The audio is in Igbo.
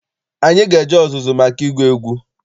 Anyị ga-eje ọzụzụ maka ịgụ egwu.